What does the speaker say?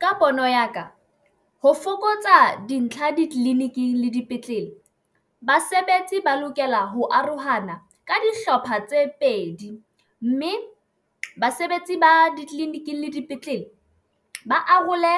Ka pono ya ka, ho fokotsa dintlha ditleliniking le dipetlele, basebetsi ba lokela ho arohana ka dihlopha tse pedi mme basebetsi ba ditleliniking le dipetlele. Ba arole